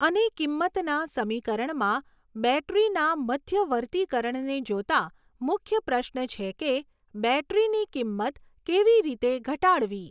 અને કિંમતના સમીકરણમાં બૅટરીના મધ્યવર્તીકરણને જોતા મુખ્ય પ્રશ્ન છે કે, બૅટરીની કિંમત કેવી રીતે ઘટાડવી?